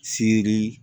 Siri